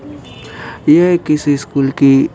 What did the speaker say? यह किसी स्कूल की --